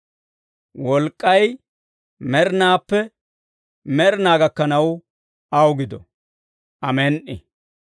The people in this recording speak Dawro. Wolk'k'ay med'inaappe med'inaa gakkanaw aw gido. Amen"i.